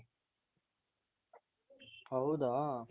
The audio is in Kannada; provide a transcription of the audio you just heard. ಹೌದಾ